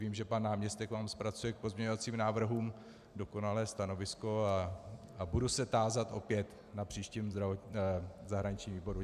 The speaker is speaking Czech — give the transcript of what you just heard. Vím, že pan náměstek vám zpracuje k pozměňovacím návrhům dokonalé stanovisko, a budu se tázat opět na příštím zahraničním výboru.